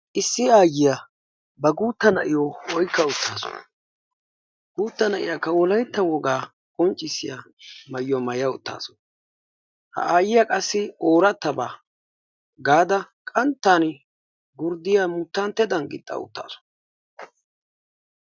Issi aayyiya ba guutta na'iyo oykka uttaasu. guutta na'iyakka Wolaytta woga qonccissiya maayuwaa maaya uttaasu. ha na"iyakka qassi oorattaba gaada qanttan gurddiyaa muttanttadan gixxa uttaasu.